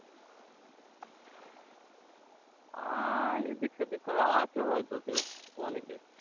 আর এদিক সেদিক করে আছে হয়তো কেউ অনেকে